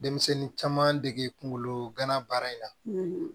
Denmisɛnnin caman dege kungolo gana baara in na